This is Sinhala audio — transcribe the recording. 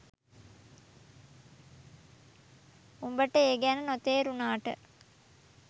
උඹට ඒ ගැන නොතේරුනාට